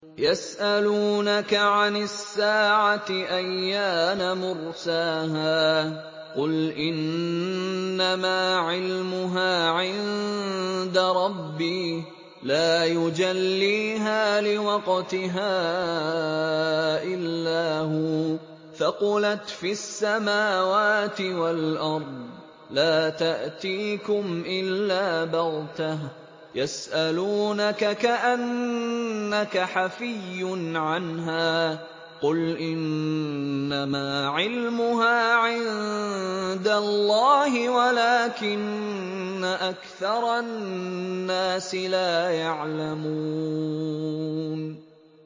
يَسْأَلُونَكَ عَنِ السَّاعَةِ أَيَّانَ مُرْسَاهَا ۖ قُلْ إِنَّمَا عِلْمُهَا عِندَ رَبِّي ۖ لَا يُجَلِّيهَا لِوَقْتِهَا إِلَّا هُوَ ۚ ثَقُلَتْ فِي السَّمَاوَاتِ وَالْأَرْضِ ۚ لَا تَأْتِيكُمْ إِلَّا بَغْتَةً ۗ يَسْأَلُونَكَ كَأَنَّكَ حَفِيٌّ عَنْهَا ۖ قُلْ إِنَّمَا عِلْمُهَا عِندَ اللَّهِ وَلَٰكِنَّ أَكْثَرَ النَّاسِ لَا يَعْلَمُونَ